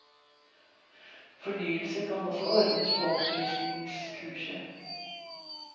Fornyelse kan også ordnes på oppfriskningskurset.